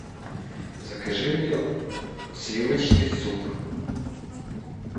закажи мне сливочный суп